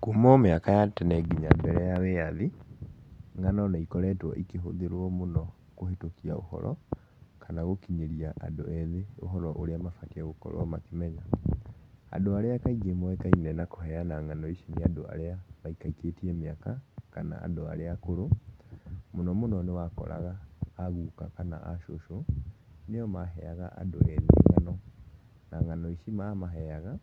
Kuuma o mĩaka ya tene nginya mbere ya wĩyathi, ng'ano nĩ ikoretwo ikĩhũthĩrwo mũno kũhĩtũkia ũhoro kana gũkinyĩria andũ ethĩ ũhoro ũrĩa mabatie gũkorwo makĩmenya. Andũ arĩa kaingĩ moĩkaine na kũheana ng'ano ici nĩ andũ arĩa maikaikĩtie mĩaka kana andũ arĩa akũrũ, mũno mũno nĩ wakoraga aguka kana acũcũ, nĩo maheaga andũ ethĩ ng'ano na ng'ano ici mamaheaga,